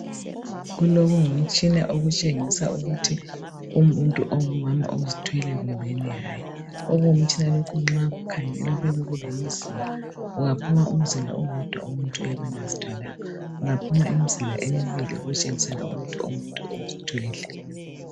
Kulokungumtshina okutshengisa ukuthi umuntu ongumama ozithweleyo kumbeni hayi, okungumtshina lokhu nxa ukhangela kuyabe kulemizila, kungaphuma umzila owodwa umuntu uyabe engazithwalanga kungaphuma imizila emibili okutshengisela ukuthi umuntu uzithwele.